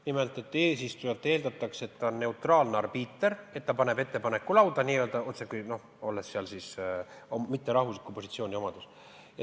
Nimelt, eesistujalt eeldatakse, et ta on neutraalne arbiiter, et ta paneb ettepaneku lauda mitte oma riigi positsioonilt.